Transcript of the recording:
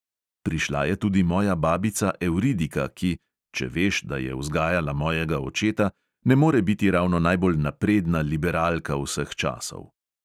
Prišla je tudi moja babica evridika, ki – če veš, da je vzgajala mojega očeta – ne more biti ravno najbolj napredna liberalka vseh časov.